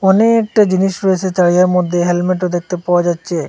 অনেকটা জিনিস রয়েছে তারিয়ার মধ্যে হেলমেটও দেখতে পাওয়া যাচ্ছে।